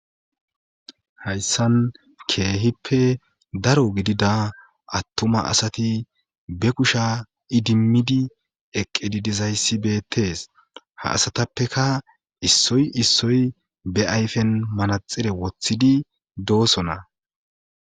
hayssan keehippe daro gidida attuma asati be kusha idimmidi eqqedi dizayssi beettes ha asatappeka issoy issoy be ayfen manaxire woththidi doosona